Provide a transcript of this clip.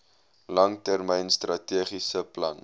langtermyn strategiese plan